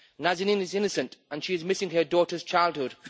Nazanin is innocent, and she is missing her daughter's childhood.